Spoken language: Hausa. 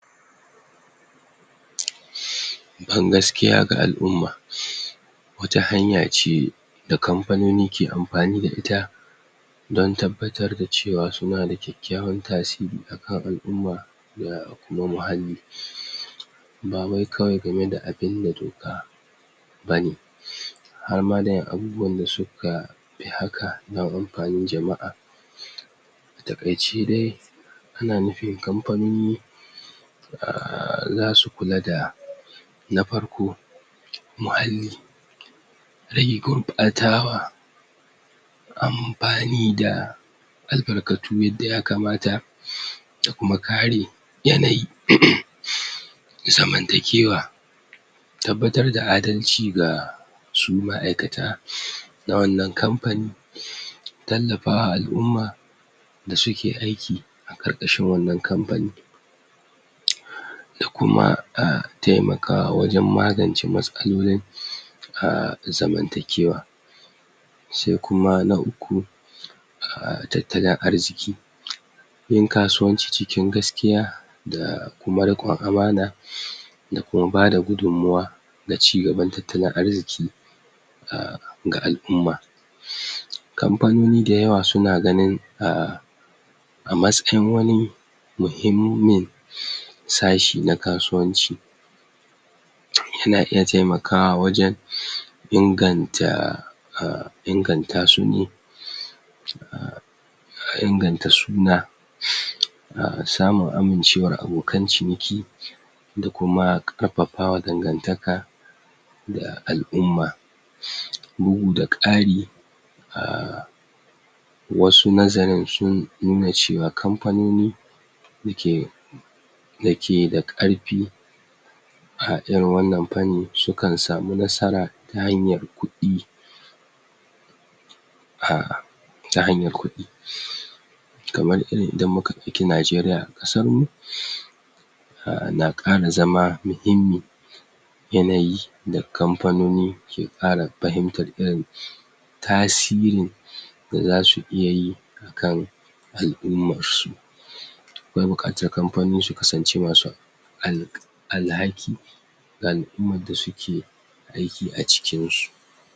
?? ban gaskiya ga al'umma wata hanya ce da kampanoni ke ampani da ita don tabbatar da cewa suna da kyakkyawan tasiri akan al'umma da kuma muhalli? ba wai kawai game da abin da doka bane? har ma da ƴan abubuwan da suka pi haka na ampanin jama'a? a taƙaice dai ana nufin kampanoni um zasu kula da na farko muhalli rage gurɓatawa ampani da albarkatu yadda yakamata? da kuma kare yanayi?? zamantakewa tabbatar da adalci ga su ma'aikata na wannan kampani? tallapawa al'umma da suke aiki a ƙarƙashin wannan kampani? da kuma um taimakawa wajen magance matsalolin? um zamantakewa se kuma na uku um tattalin arziki? yin kasuwanci cikin gaskiya da kuma riƙon amana? da kuma bada gudunmawa na cigaban tattalin arziki um ga al'umma? kampanoni dayawa suna ganin um a masken wani muhimmin? sashi na kasuwanci yana iya taimakawa wajen? inganta um inganta su ne? um um inganta suna? um samun amincewar abokan ciniki da kuma karpapawa dangantaka da al'umma? bugu da ƙari um wasu nazarin sun nuna cewa kampanoni da ke da ke da ƙarpi a irin wannan panni sukan samu nasara ta hanyar kuɗi um ta hanyar kuɗi? kamar irin idan mu ka ɗauki Najeriya ƙasar mu? um na ƙara zama mahimmi yanayi da kampanoni ke ƙara pahimtar irin tasirin da zasu iya yi kan al'umassu akwai buƙatar kampanoni su kasance masu alk alhaki ga al'umar da suke aiki a cikin su